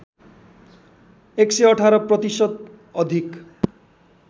११८ प्रतिशत अधिक